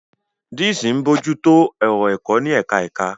Deans ń bójú tó ọ̀rọ̀ ẹ̀kọ́ ní ẹ̀ka ẹ̀ka.